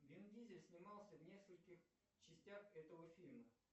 вин дизель снимался в нескольких частях этого фильма